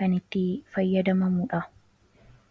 kan itti fayyadamamudha